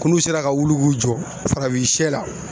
K'ulu sera ka wuli k'u jɔ farafinsɛ la.